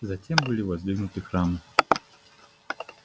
затем были воздвигнуты храмы